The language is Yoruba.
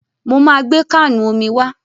Mo máa gbé káànù omi wá.